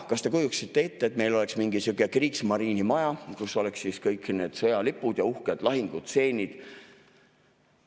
Kas te kujutaksite ette, et meil oleks mingi sihuke Kriegsmarine maja, kus oleks kõik need sõjalipud ja uhked lahingustseenid?